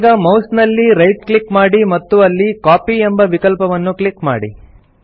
ಈಗ ಮೌಸ್ ನಲ್ಲಿ right click ಮಾಡಿ ಮತ್ತು ಅಲ್ಲಿ ಕಾಪಿ ಎಂಬ ವಿಕಲ್ಪವನ್ನು ಕ್ಲಿಕ್ ಮಾಡಿ